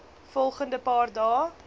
volgende paar dae